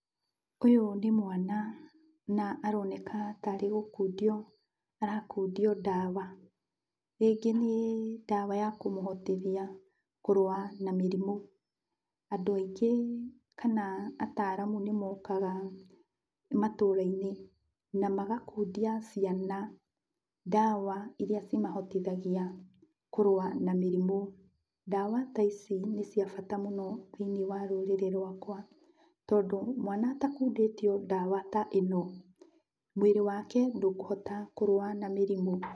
Ũyũ nĩ mwana na aroneka tarĩ gũkundio arakundio ndawa. Rĩngĩ nĩ ndawa ya kũmũhotithia kũrũa na mĩrimũ. Andũ aingĩ kana ataalamu nĩmokga matũra-inĩ, na magakundia ciana ndawa iria cimahotithagia kũrũa na mĩrimũ. Ndawa ta ici nĩ cia bata mũno thĩiniĩ wa rũrĩrĩ rwakwa, tondŨ mwana atakundĩtio ndawa ta ĩno, mwĩrĩ wake ndũkũhota kũrũa na mĩrimũ.